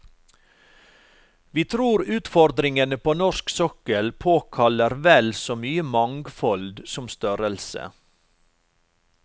Vi tror utfordringene på norsk sokkel påkaller vel så mye mangfold som størrelse.